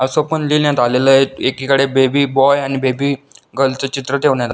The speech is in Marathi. असं पण लिहिण्यात आलेल आहे एकीकडे बेबी बॉय आणि बेबी गर्ल च चित्र ठेवण्यात--